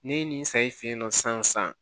Ne ye nin saɲɔn san